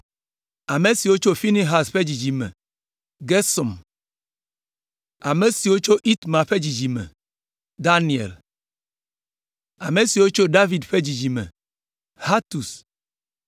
Ame siwo tso Finehas ƒe dzidzime me: Gersom; Ame siwo tso Itamar ƒe dzidzime me: Daniel; Ame siwo tso David ƒe dzidzime me: Hatus